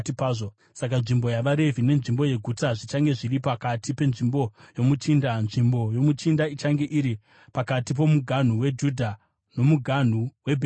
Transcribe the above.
Saka nzvimbo yavaRevhi nenzvimbo yeguta zvichange zviri pakati penzvimbo yomuchinda. Nzvimbo yomuchinda ichange iri pakati pomuganhu weJudha nomuganhu waBhenjamini.